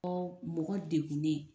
Ɔ mɔgɔ dekun ne.